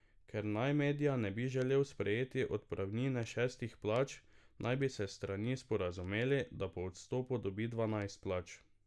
Ker naj Medja ne bi želel sprejeti odpravnine šestih plač, naj bi se strani sporazumeli, da po odstopu dobi dvanajst plač.